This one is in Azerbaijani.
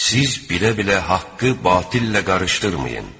Siz bilə-bilə haqqı batillə qarışdırmayın!